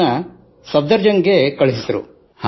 ಅವರನ್ನು ಸಫ್ದರ್ ಜಂಗ್ ಗೆ ವರ್ಗಾಯಿಸಿದರು